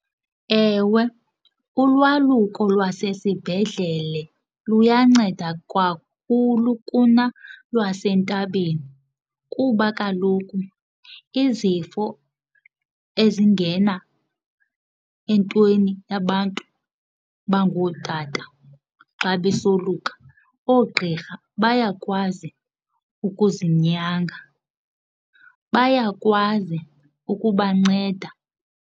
Ewe, ulwaluko lwasesibhedlele luyanceda kakhulu kunalwasentabeni kuba kaloku izifo ezingena entweni yabantu abangootata xa besoluka oogqirha bayakwazi ukuzinyanga, bayakwazi ukubanceda.